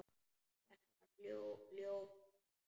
Þetta var ljótt land.